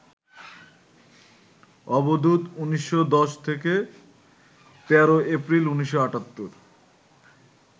অবধূত, ১৯১০ থেকে ১৩ এপ্রিল, ১৯৭৮